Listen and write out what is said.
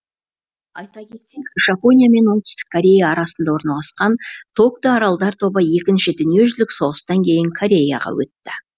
айта кетсек жапония мен оңтүстік корея арасында орналасқан токто аралдар тобы екінші дүниежүзілік соғыстан кейін кореяға өтті